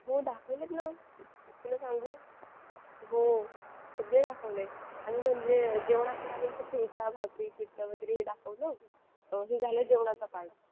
हो दाखवलेत ना तुला सांगू हो सगळे दाखवले आणि म्हणजे जेवणात तर आम्ही असं ठेचा भाकरी पिठलं वगैरे हे दाखवलं हे झालं जेवणाचा part